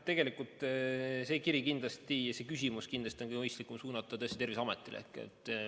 Tegelikult oleks see küsimus kindlasti mõistlikum suunata Terviseametile.